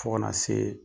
Fo kana se